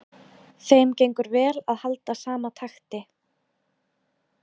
Þeim gengur vel að halda sama takti.